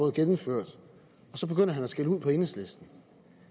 gennemført og så begynder herre skælde ud på enhedslisten